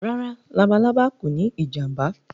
Rárá“ labalábá” kòní ìjàǹbá.